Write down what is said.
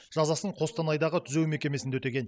жазасын қостанайдағы түзеу мекемесінде өтеген